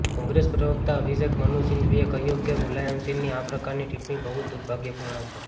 કોંગ્રેસ પ્રવકતા અભિષેક મનુ સિંઘવીએ કહ્યુ કે મુલાયમસિંહની આ પ્રકારની ટિપ્પણી બહુજ દુર્ભાગ્યપૂર્ણ છે